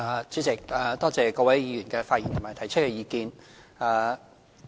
主席，多謝各位議員的發言和提出的意見。